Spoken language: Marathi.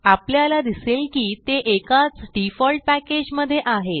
आपल्याला दिसेल की ते एकाच डिफॉल्ट पॅकेज मधे आहेत